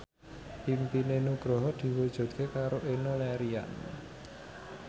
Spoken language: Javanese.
impine Nugroho diwujudke karo Enno Lerian